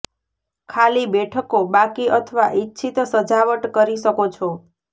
ખાલી બેઠકો બાકી અથવા ઇચ્છિત સજાવટ કરી શકો છો